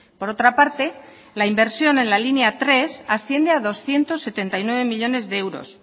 por otra parte la inversión en la línea tres asciende a doscientos setenta y nueve millónes de euros